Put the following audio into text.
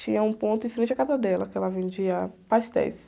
Tinha um ponto em frente à casa dela, que ela vendia pastéis.